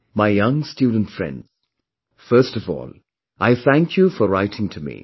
My young student friends, first of all, I thank you for writing to me